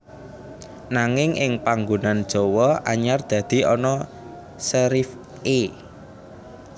Nanging ing panggunan Jawa anyar dadi ana serif é